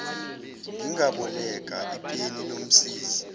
ngingaboleka ipeni lomsizi